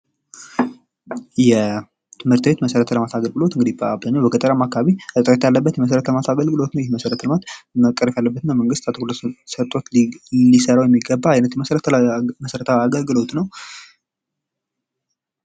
የትምህርት ቤት መሰረተ ልማት አገልግሎት እንግዲህ በአብዛኛው በገጠራማ አካባቢ መደረግ ያለበት የመሰረተ ልማት አገልግሎት ቀረፍ ያለበትና መንግስት ትኩረት ሰጥቶ ሊሰራው የሚገባ የመሠረት አገልግሎት ነው።